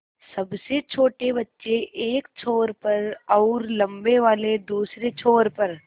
सबसे छोटे बच्चे एक छोर पर और लम्बे वाले दूसरे छोर पर